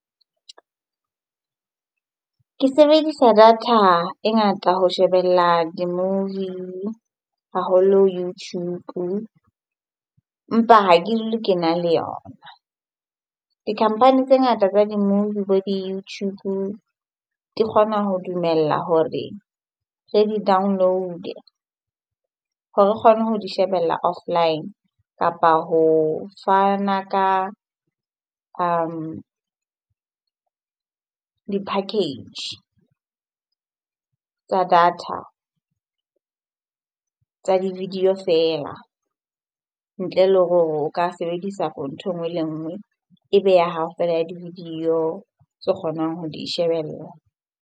Ke sebedisa data e ngata ho shebella di-movie haholo YouTube empa ha ke le ke na le yona. Di company tse ngata tsa di-movie bo di-YouTube di kgona ho dumella hore re di download-e hore re kgone ho di shebella offline kapa ho fana ka di-package tsa data di video feela ntle le hore o ka sebedisa for ntho e nngwe le nngwe e be ya hao fela ya di-video tse kgonang ho di shebella.